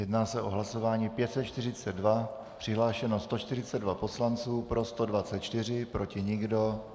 Jedná se o hlasování 542, přihlášeno 142 poslanců, pro 124, proti nikdo.